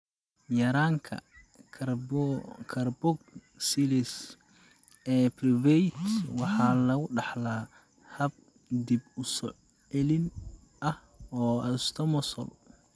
Yaraanta karboksilase ee Pyruvate waxaa lagu dhaxlaa hab dib u soo celin ah oo autosomal ah.